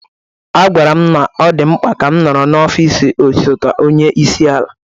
A gwara m na ọ dị mkpa ka m nọrọ n'ọfịs osote onye isi ala.